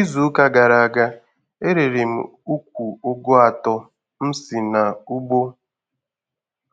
Izu ụka gara aga, e rere m ukwu Ụgụ atọ m si n'ugbo